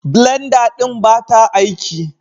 Blenda ɗin ba ta aiki